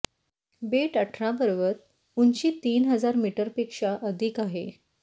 बेट अठरा पर्वत उंची तीन हजार मीटर पेक्षा अधिक आहे